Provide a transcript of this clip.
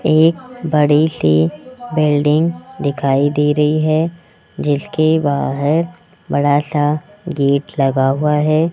एक बड़ी सी बिल्डिंग दिखाई दे रही है जिसके बाहर बड़ा सा गेट लगा हुआ है।